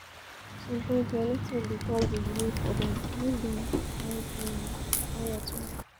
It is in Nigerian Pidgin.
Sometimes na network dey cause di delay for bank, make dem find um beta network.